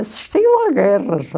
Assistiam a guerras.